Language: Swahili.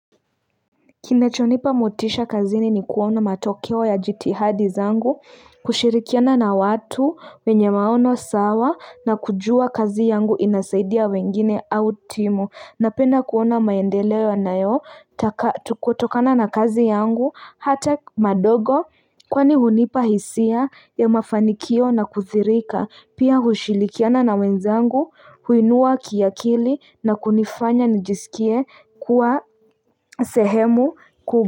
Kinachonipa motisha kazini ni kuona matokeo ya jitihadi zangu, kushirikiana na watu wenye maono sawa na kujua kazi yangu inasaidia wengine au timu. Napenda kuona maendeleo yanayo tukotokana na kazi yangu hata madogo kwani hunipa hisia ya mafanikio na kuthirika pia hushilikiana na wenzangu huinua kiakili na kunifanya nijisikie kuwa sehemu ku.